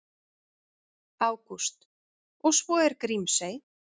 Ágúst: Og svo er Grímsey.